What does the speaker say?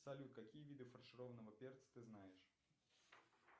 салют какие виды фаршированного перца ты знаешь